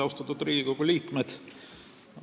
Austatud Riigikogu liikmed!